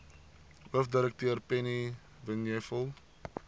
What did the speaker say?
hoofdirekteur penny vinjevold